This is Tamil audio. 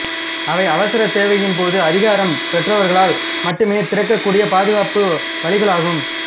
அவை அவசரத் தேவையின் போது அதிகாரம் பெற்றவர்களால் மட்டுமே திறக்கக் கூடிய பாதுக்காப்பு வழிகளாகும்